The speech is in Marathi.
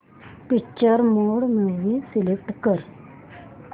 पिक्चर मोड मूवी सिलेक्ट कर